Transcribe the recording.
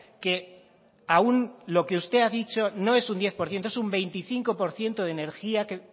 que aún lo que usted ha dicho no es un diez por ciento es un veinticinco por ciento de energía